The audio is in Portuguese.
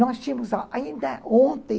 Nós tínhamos ainda ontem...